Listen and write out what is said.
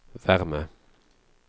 värme